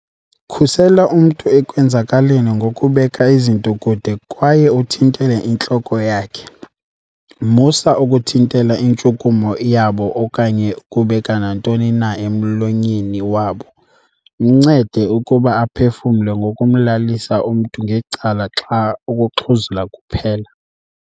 "Khusela umntu ekwenzakaleni ngokubeka izinto kude kwaye uthintele intloko yakhe. Musa uku thintela intshukumo yabo okanye ukubeka nantoni na emlonyeni wabo. Mncede ukuba aphefumle ngokumlalisa umntu ngecala xa ukuxhuzula kuphela."